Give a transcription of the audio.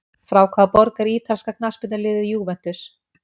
Frá hvaða borg er ítalska knattspyrnuliðið Juventus?